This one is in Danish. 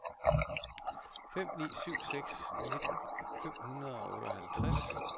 fem ni syv seks nitten fem hundrede og otteoghalvtreds